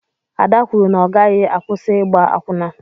Ada kwụrụ na ọ gaghị akwusi ịgba akwụna.